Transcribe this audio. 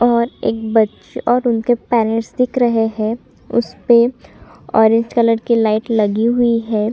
और एक बच और उनके पेरेंट्स दिख रहे है उसपे ऑरेंज कलर की लाइट लगी हुई है ।